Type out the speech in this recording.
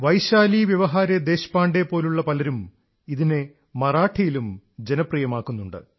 വൈശാലി വ്യവഹാരെ ദേശപാണ്ഡേയെപ്പോലുള്ള പലരും ഇതിനെ മറാഠിയിലും ജനപ്രിയമാക്കുന്നുണ്ട്